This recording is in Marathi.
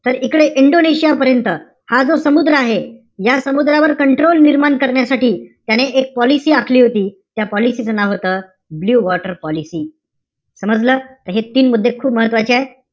तर इकडे इंडोनेशिया पर्यंत, हा जो समुद्र आहे. या समुद्रावर control निर्माण करण्यासाठी त्याने एक पॉलिसी आखली होती. त्या पॉलिसी च नाव होतं, ब्लू वॉटर पॉलिसी. समजलं अशे तीन मुद्दे खूप महत्वाचे आहे.